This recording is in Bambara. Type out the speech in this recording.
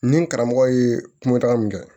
Ni n karamɔgɔ ye kumataga min kɛ